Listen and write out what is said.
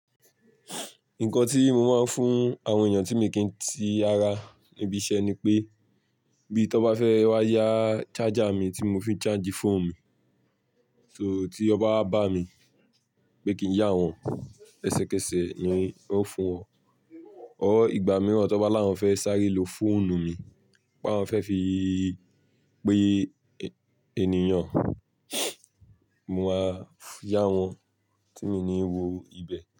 Nǹkan tí mo máa ń fún àwọn èyàn tí mi n kí ti ara níbi iṣẹ́ ni pé, bí tọ bá fẹ́ wá yá charger mi tí mo fi ń charge fóònù mi, so tí wọn bá wá bá mi pé kí n yá wọn, ẹsẹ̀kẹsẹ̀ ni n o fún wọn. Or, ìgbà mìíràn tọ bá láwọn fẹ́ sáré lo fóònù mi, pé áwọn fẹ́ fi pè ènìyàn, mo máa yá wọn tí mi ní wo ibẹ̀